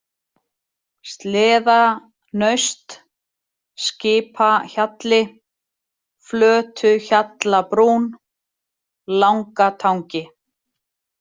Sleðanaust, Skipahjalli, Flötuhjallabrún, Langatangi